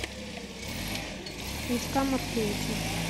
витька маркевича